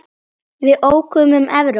Við ókum um Evrópu.